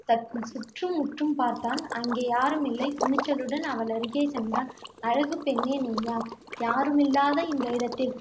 தன் சுற்றுமுற்றும் பார்த்தான். அங்கே யாருமில்லை துணிச்சலுடன் அவளருகே சென்றான். அழகுப்பெண்ணே நீ யார் யாருமில்லாத இந்த இடத்தில்